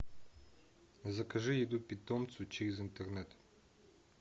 закажи еду питомцу через интернет